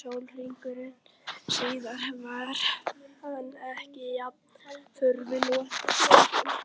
sólarhring síðar var hann enn jafn furðu lostinn.